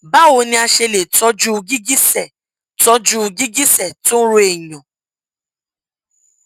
báwo ni a ṣe lè tọjú gìgísẹ tọjú gìgísẹ tó ń ro èèyàn